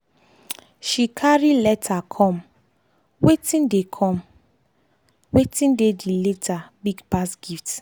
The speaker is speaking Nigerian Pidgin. she carry letter comewatin dey comewatin dey the letter big pass gift.